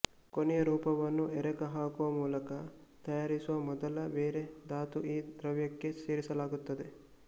ಕೊನೆಯ ರೂಪವನ್ನು ಎರಕ ಹಾಕುವ ಮೂಲಕ ತಯಾರಿಸುವ ಮೊದಲು ಬೇರೆ ಧಾತು ಈ ದ್ರವ್ಯಕ್ಕೆ ಸೇರಿಸಲಾಗುತ್ತದೆ